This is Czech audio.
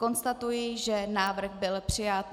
Konstatuji, že návrh byl přijat.